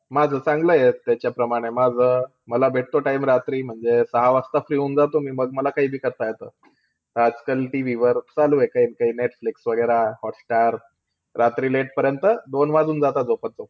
माझं चांगलंय त्याच्याप्रमाणे. माझं, मला भेटतो time रात्री म्हणजे सहा वाजता free होऊन जातो मी. मग मला काईबी करता येतं. आजकाल TV वर चालूयं काई ना काई, नेटफ्लिक्स वैगेरा हॉटस्टार. रात्री late पर्यंत दोन वाजून जाता झोपत-झोपत.